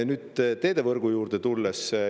Nüüd, teedevõrgu juurde tulles.